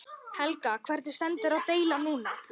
Helga: Hvernig stendur deilan núna?